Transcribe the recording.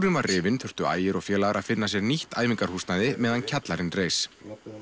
hann var rifinn þurftu Ægir og félagar að finna sér nýtt æfingahúsnæði meðan kjallarinn reis